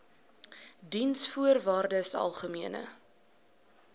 diensvoorwaardesalgemene